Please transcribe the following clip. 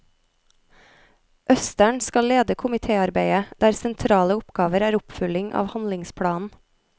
Østern skal lede komitéarbeidet, der sentrale oppgaver er oppfølging av handlingsplanen.